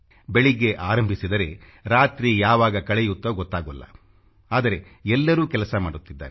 ಬೆಳಿಗ್ಗೆ ಆರಂಭಿಸಿದರೆ ರಾತ್ರಿ ಯಾವಾಗ ಕಳೆಯುತ್ತೋ ಗೊತ್ತಾಗೊಲ್ಲ ಆದರೆ ಎಲ್ಲರೂ ಕೆಲಸ ಮಾಡುತ್ತಿದ್ದಾರೆ